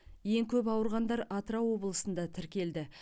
ең көп ауырғандар атырау облысында тіркелді